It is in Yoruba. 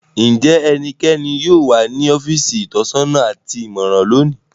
Njẹ ẹnikan yóò wa ni ọfiisi itọsọna ati imọran loni?